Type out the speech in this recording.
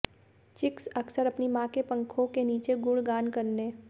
chicks अक्सर अपनी मां के पंखों के नीचे गुणगान करने